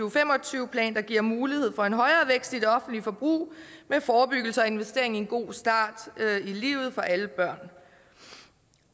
og fem og tyve plan der giver mulighed for en højere vækst i det offentlige forbrug med forebyggelse og investering i en god start i livet for alle børn